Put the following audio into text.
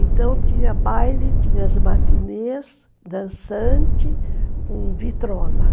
Então tinha baile, tinha as matinês, dançante com vitrola.